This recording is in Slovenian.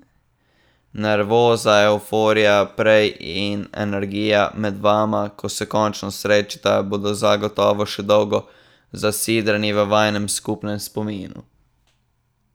Nervoza, evforija prej in energija med vama, ko se končno srečata, bodo zagotovo še dolgo zasidrani v vajinem skupnem spominu.